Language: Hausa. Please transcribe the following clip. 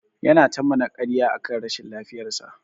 Yana ta mana karya akan rashin lafiyar sa.